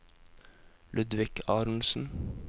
Ludvig Aronsen